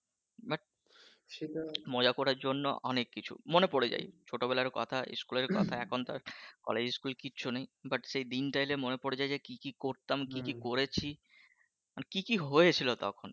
মজা করার জন্য অনেক কিছু মনে পড়ে যায় ছোটো বেলার কথা স্কুলের কথা এখন তো আর কলেজ কিচ্ছু নেই বাট সেই দিনটা এলে মনে পড়ে যায় যে কী কী করতাম কী কী করেছি মানে কী কী হয়েছিলো তখন